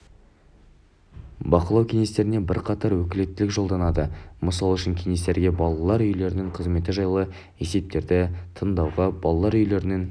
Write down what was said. бақылау кеңестеріне бірқатар өкілеттілік жолданады мысал үшін кеңестерге балалар үйлерінің қызметі жайлы есептерді тыңдауға балалар үйлерінің